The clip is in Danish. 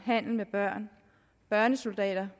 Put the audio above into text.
handel med børn børnesoldater